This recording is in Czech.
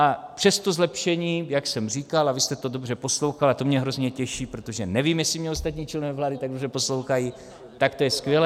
A přesto zlepšení, jak jsem říkal, a vy jste to dobře poslouchal a to mě hrozně těší, protože nevím, jestli mě ostatní členové vlády tak dobře poslouchají, tak to je skvělé.